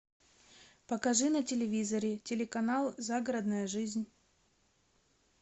покажи на телевизоре телеканал загородная жизнь